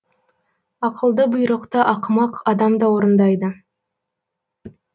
ақылды бұйрықты ақымақ адам да орындайды